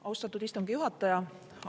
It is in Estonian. Austatud istungi juhataja!